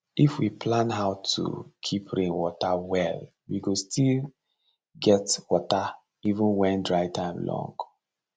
if we plan how to keep rain water well we go still get water even when dry time long